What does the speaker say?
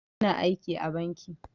Ina aiki a banki